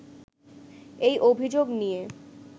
এই অভিযোগ নিয়ে